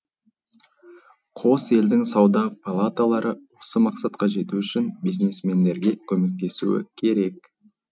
қос елдің сауда палаталары осы мақсатқа жету үшін бизнесмендерге көмектесуі керек